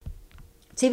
TV 2